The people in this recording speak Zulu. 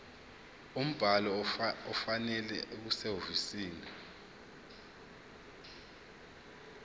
umbhalo ofanele okusehhovisi